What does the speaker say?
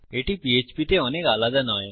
এটি পীএচপী তে অনেক আলাদা নয়